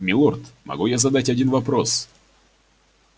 милорд могу я задать один вопрос